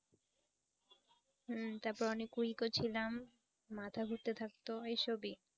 হুঁ তারপর অনেক weak ও ছিলাম। মাথা ঘুরতে থাকতো এই সবই।